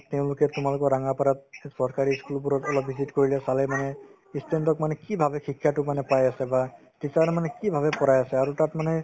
তেওঁলোকে তোমালোকৰ ৰাঙাপাৰাত চৰকাৰী ই student বোৰত অলপ visit কৰিলে চালে মানে ই student ক মানে কি ভাবে মানে শিক্ষাতো পাই আছে বা teacher য়ে মানে কি ভাবে পঢ়াই আছে আৰু তাত মানে